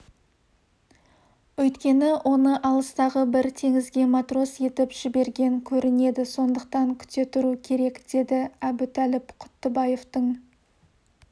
өйткені оны алыстағы бір теңізге матрос етіп жіберген көрінеді сондықтан күте тұру керек деді әбутәліп құттыбаевтың